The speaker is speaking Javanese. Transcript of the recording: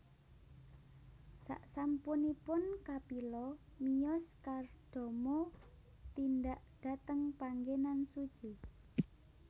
Saksampunipun Kapila miyos Kardama tindak dhateng panggenan suci